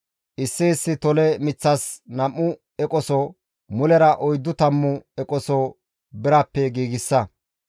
issi issi tole miththas nam7u eqoso, mulera oyddu tammu eqoso birappe giigsa.